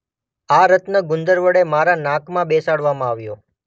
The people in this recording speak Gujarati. આ રત્ન ગુંદર વડે મારા નાકમાં બેસાડવામાં આવ્યો